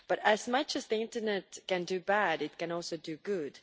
But as much as the internet can do bad, it can also do good.